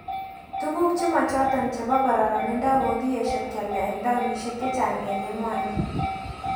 Tukuk chemochoton chebo kororonindo kokikeyesho kialda eng townishek chechang eng emoni